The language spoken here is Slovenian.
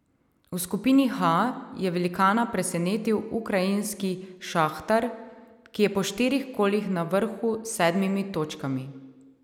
V skupini H je velikana presenetil ukrajinski Šahtar, ki je po štirih kolih na vrhu s sedmimi točkami.